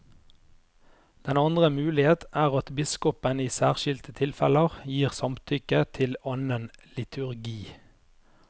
Den andre mulighet er at biskopen i særskilte tilfeller gir samtykke til annen liturgi.